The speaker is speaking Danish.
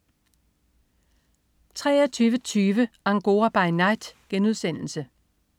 23.20 Angora by Night*